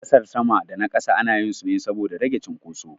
Gasar sama da na ƙasa anyi su ne saboda rage cunkoso.